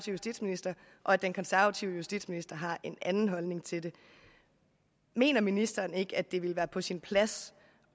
justitsminister og at den konservative justitsminister har en anden holdning til den mener ministeren ikke at det ville være på sin plads